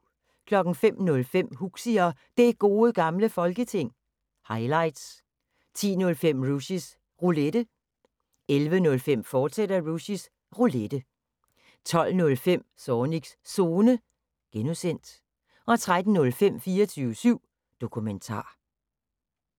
05:05: Huxi og Det Gode Gamle Folketing – highlights 10:05: Rushys Roulette 11:05: Rushys Roulette, fortsat 12:05: Zornigs Zone (G) 13:05: 24syv Dokumentar